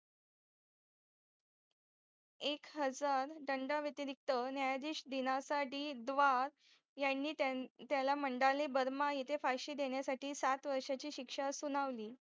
एक हजार दंडा वातिरिक्त नायाधीश दीनासाठी द्वार यांनी त्याला मंडाले बर्मा येथे फाशी देण्यासाठी सात वर्षाची शिक्षा सुनावली